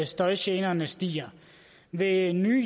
støjgenerne stiger ved nye